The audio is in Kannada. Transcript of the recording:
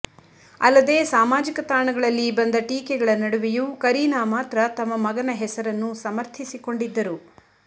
ಅಲ್ಲದೇ ಸಾಮಾಜಿಕ ತಾಣಗಳಲ್ಲಿ ಬಂದ ಟೀಕೆಗಳ ನಡುವೆಯೂ ಕರೀನಾ ಮಾತ್ರ ತಮ್ಮ ಮಗನ ಹೆಸರನ್ನು ಸಮರ್ಥಿಸಿಕೊಂಡಿದ್ದರು